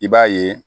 I b'a ye